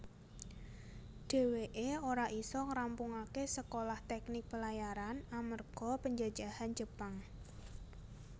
Dheweke ora isa ngrampungake Sekolah Teknik Pelayaran amerga penjajahan Jepang